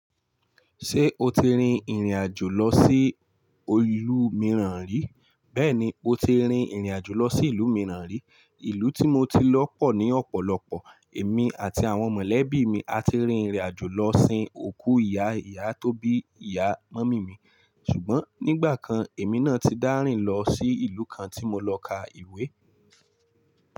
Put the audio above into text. Ṣé o ti rin ìrìnàjò lọ sí ólú mìíràn rí? Bẹ́ẹ̀ni, mo ti rin ìrìnàjò lọ sí ìlú mìíràn rí. Ìlú tí mo ti lọ pọ̀ ní ọ̀pọ̀lọpọ̀. Èmi àti àwọn mọ̀lẹ́bí mi a ti rin ìrìnàjò lọ sin òkú ìyá ìyá tó bí ìyá mọ́mì mi. Ṣùgbọ́n nígbà kan èmi náà ti dárìn lọ sí ìlú kan tí mo lọ ka ìwé.